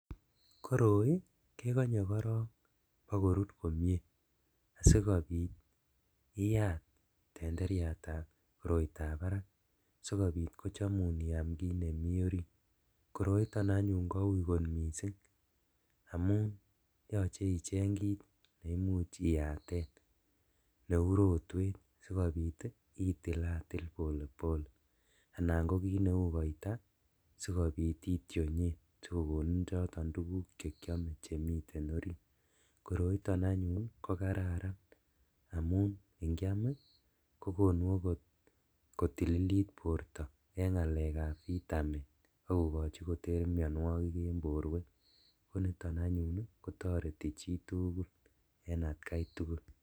Koroi kekonye korong bokorur komie asikobit iyat tenderiatab koroitab barak sikobit kochomum iaam kit nemi orit koroiton anyun kou kot missing' amun yoche icheng kit neimuch iyaten neu rotwet sikobit itilatil polepole anan ko kit neu koita sikobit itionyen sikokonin choton tuguk chekiome chemiten orit koroiton anyun ko kararan amun inkiam ii kokonut okot korililit borto en ngalekab vitamin akokochi koter mionuokik en boruek koniton anyun kotoreti chitugul en atkaitugul.